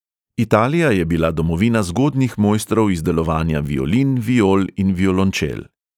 Italija je bila domovina zgodnjih mojstrov izdelovanja violin, viol in violončel.